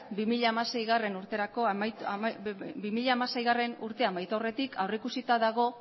bi mila hamaseigarrena urtea amaitu aurretik aurrikusita dago